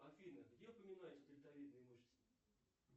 афина где упоминаются дельтовидные мышцы